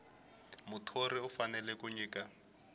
muthori u fanele ku nyika